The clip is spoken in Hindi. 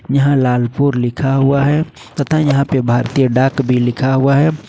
यहां लालपुर लिखा हुआ है तथा यहां पर भारतीय डाक भी लिखा हुआ है।